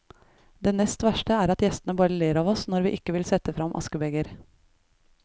Det nest verste er at gjestene bare ler av oss når vi ikke vil sette frem askebeger.